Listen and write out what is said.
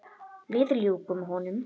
Við ljúkum honum.